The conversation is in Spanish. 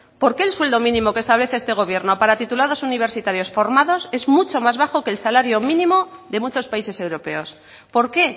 por qué el sueldo mínimo que está este gobierno para titulados universitarios formados es mucho más bajo que el salario mínimo de muchos países europeos por qué